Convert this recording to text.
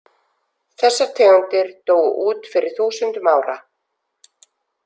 Þessar tegundir dóu út fyrir þúsundum ára.